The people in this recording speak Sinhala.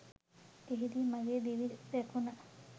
එහිදී මගේ දිවි රැකුන